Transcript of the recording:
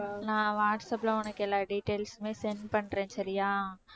நான் வாட்ஸ்ஆப்ல உனக்கு எல்லா details உமே send பண்றேன் சரியா